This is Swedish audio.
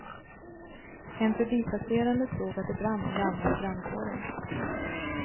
En förbipasserande såg att det brann och larmade brandkåren.